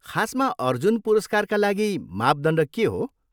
खासमा अर्जुन पुरस्कारका लागि मापदण्ड के हो?